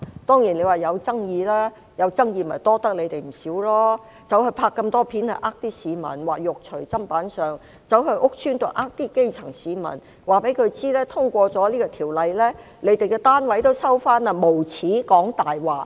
當然，引起了爭議，這要多虧你們了，拍攝那麼多錄像影片欺騙市民，說"肉隨砧板上"，又到屋邨欺騙基層市民，告訴他們通過條例後，他們的單位會被收回，無耻地說謊。